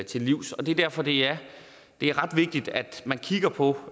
til livs det er derfor det er ret vigtigt at man kigger på